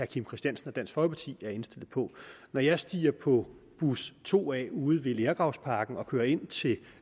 kim christiansen og dansk folkeparti er indstillet på når jeg stiger på bus 2a ude ved lergravsparken og kører ind til